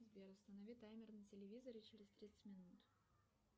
сбер установи таймер на телевизоре через тридцать минут